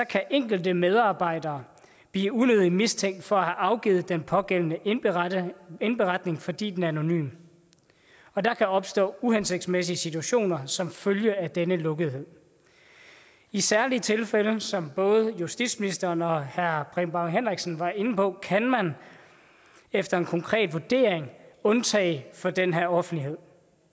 kan enkelte medarbejdere blive unødigt mistænkt for afgivet den pågældende indberetning indberetning fordi den er anonym og der kan opstå uhensigtsmæssige situationer som følge af denne lukkethed i særlige tilfælde som både justitsministeren og herre preben bang henriksen var inde på kan man efter en konkret vurdering undtage fra den her offentlighed